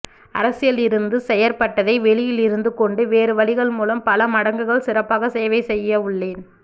அரசியலில் இருந்து செயற்பட்டதை வெளியில் இருந்து கொண்டு வேறு வழிகள் மூலம் பல மடங்குகள் சிறப்பாக சேவை செய்யவுள்ளேன்